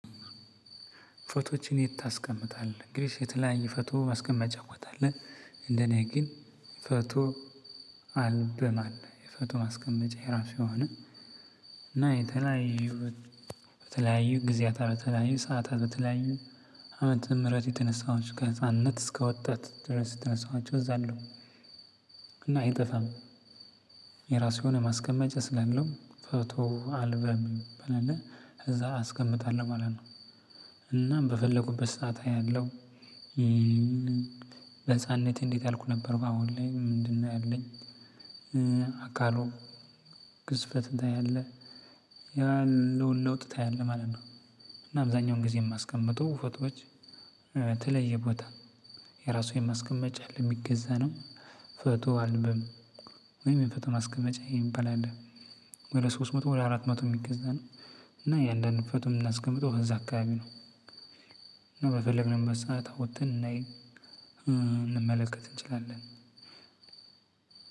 ፎቶዎችን የት ታስቀምጣለህ? እንግዲህ የተለያየ ፎቶ ማስቀመጫ ትችላለህ እንደኔ ግን ፎቶ አልበም አለ የፎቶ ማስቀመጫ የራሱ የሆነ እና የተለያዩ በተለያዩ ጊዜያታት በተለያዩ ሰዓታት በተለያዩ ዓመተ ምህረት የተነሳኋቸው ከህጻንነት እስከወጣት ድረስ የተነሳኋቸው እዛ አሉ። እና አይጠፋም። የራሱ የሆነ ማስቀመጫ ስላለው ፎቶ አልበም ሚባል አለ እዛ አስቀምጣለሁ ማለት ነው እናም በፈለኩበት ሰዓት አያለሁ። በህፃንነቴ እንዴት ያልኩ ነበር በአሁን ላይ ምንድነው ያለኝ? አካሉ ግዝፈትን ታያለህ ያለውን ለውጥ ታያለህ ማለት ነው። እና አብዛኛውን ጊዜ እማስቀምጠው ፎቶዎች ተለየ ቦታ የራሱ የማስቀመጫ አለ እሚገዛ ነው። ፎቶ አልበም ወይም የፎቶ ማስቀመጫ የሚባል አለ። ወደ ሶስት መቶ ወደ አራት መቶ ሚገዛ ነው። እና እያንዳንዱን ፎቶ እምናስቀምጠው እዛ አካባቢ ነው። በፈለግንበት ሰዓት አውተን ልናይ ልንመለከት እንችላለን።